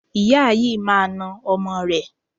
Ìyá yìí máa na ọmọ rẹ̀.